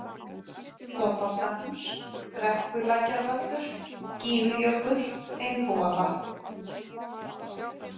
Þorvaldahús, Brekkulækjarvöllur, Gígjökull, Einbúavatn